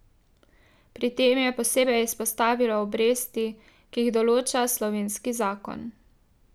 Pri tem je posebej izpostavilo obresti, ki jih določa slovenski zakon.